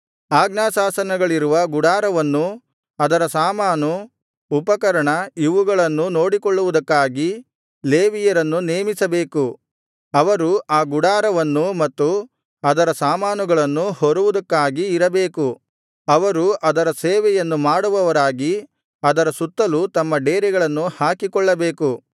ಆಜ್ಞಾಶಾಸನಗಳಿರುವ ಗುಡಾರವನ್ನೂ ಅದರ ಸಾಮಾನು ಉಪಕರಣ ಇವುಗಳನ್ನೂ ನೋಡಿಕೊಳ್ಳುವುದಕ್ಕಾಗಿ ಲೇವಿಯರನ್ನು ನೇಮಿಸಬೇಕು ಅವರು ಆ ಗುಡಾರವನ್ನೂ ಮತ್ತು ಅದರ ಸಾಮಾನುಗಳನ್ನೂ ಹೊರುವುದಕ್ಕಾಗಿ ಇರಬೇಕು ಅವರು ಅದರ ಸೇವೆಯನ್ನು ಮಾಡುವವರಾಗಿ ಅದರ ಸುತ್ತಲೂ ತಮ್ಮ ಡೇರೆಗಳನ್ನು ಹಾಕಿಕೊಳ್ಳಬೇಕು